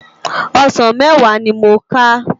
Òsán mèwá ni mó ká